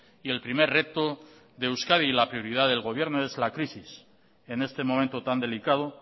y el primer reto de euskadi y la prioridad del gobierno es la crisis en este momento tan delicado